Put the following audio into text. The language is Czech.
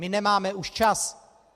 My už nemáme čas.